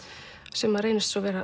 sem reynist svo vera